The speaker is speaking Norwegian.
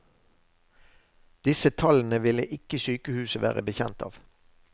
Disse tallene ville ikke sykehuset være bekjent av.